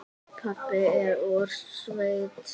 Pabbi er úr sveit.